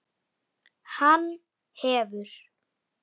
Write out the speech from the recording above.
Hann hefur.